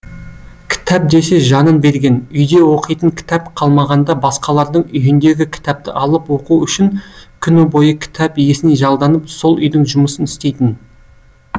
кітап десе жанын берген үйде оқитын кітап қалмағанда басқалардың үйіндегі кітапты алып оқу үшін күні бойы кітап иесіне жалданып сол үйдің жұмысын істейтін